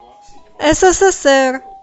ссср